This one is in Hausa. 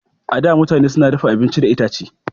A da, mutane su na dafa abincin da itace.